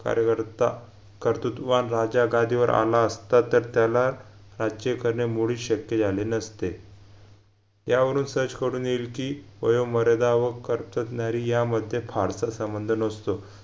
कार्यकर्ता कर्तृत्ववान राजा गादीवर आला असता तर त्याला राज्य करणे मूडीच शक्य झाले नसते यावरून सहज कडून येईल कि मध्ये फारसा संबंध नसतो